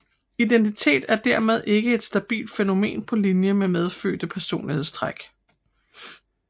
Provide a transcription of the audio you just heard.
Identitet er dermed ikke et stabilt fænomen på linje med medfødte personlighedstræk